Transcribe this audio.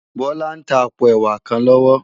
Bola n tá àpó èwá kán lòwò